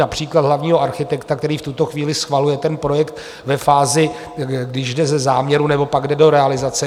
například hlavního architekta, který v tuto chvíli schvaluje ten projekt ve fázi, když jde ze záměru nebo pak jde do realizace.